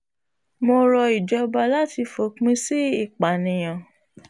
mo rọ ìjọba láti fòpin sí ìpànìyàn